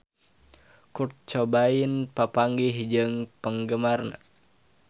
Kurt Cobain papanggih jeung penggemarna